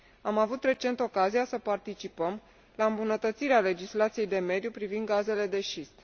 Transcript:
Am avut recent ocazia să participăm la îmbunătățirea legislației de mediu privind gazele de șist.